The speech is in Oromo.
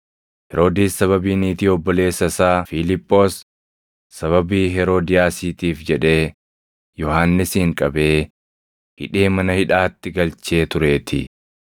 Heroodis sababii niitii obboleessa isaa Fiiliphoos, sababii Heroodiyaasiitiif jedhee Yohannisin qabee, hidhee mana hidhaatti galchee tureetii.